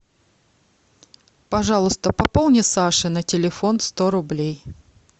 пожалуйста пополни саше на телефон сто рублей